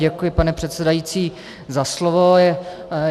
Děkuji, pane předsedající, za slovo.